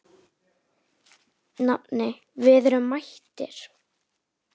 Nafni, við erum mættir